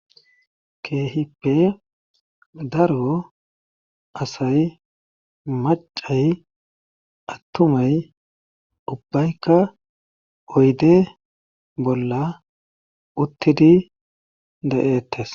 Keehippe daro asay maccay attumay ubayikka oyde bolla uttidi de'eetees.